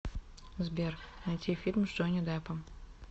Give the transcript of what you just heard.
сбер найти фильм с джони деппом